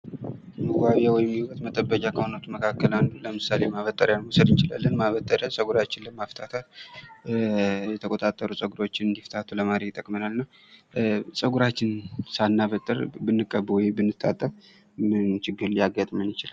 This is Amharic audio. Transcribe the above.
የውበት መጠበቂያ ከሆኑት መካከል አንዱ ለምሳሌ ማበጠሪያ መውሰድ እንችላለን ማበጠሪያ ፀጉራችንን ለማፍታታት የተቆጣጠሩ ጸጉሮችን እንዲፍታቱ ለማድረግ ይጠቅመናል። ፀጉራችን ሳናበጥር ብንቀባ ወይ ብንታጠብ ምን ችግር ሊያጋጥመን ይችላል?